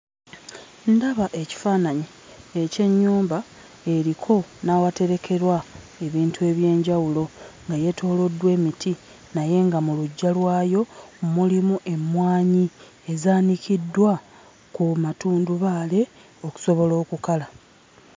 Ndaba ekifaananyi eky'ennyumba eriko n'awaterekerwa ebintu eby'enjawulo nga yeetooloddwa emiti naye nga mu luggya lwayo mulimu emmwanyi ezaanikiddwa ku matundubaali okusobola okukala.